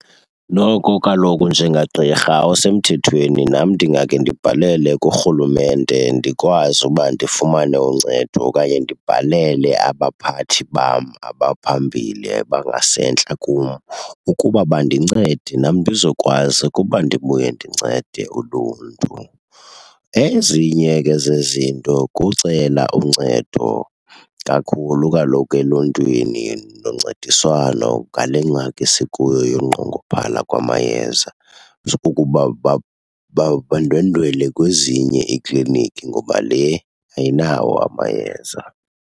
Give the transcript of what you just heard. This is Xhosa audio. Noko kaloku njengagqirha osemthethweni nam ndingakhe ndibhalele kurhulumente ndikwazi uba ndifumane uncedo okanye ndibhalele abaphathi bam abaphambili abangasentla kum ukuba bandincede nam ndizokwazi ukuba ndibuye ndincede uluntu. Ezinye ke zezinto kucela uncedo kakhulu kaloku eluntwini noncediswano ngale ngxaki sikuyo yonqongophala kwamayeza ukuba bandwendwele kwezinye iikliniki ngoba le ayinawo amayeza.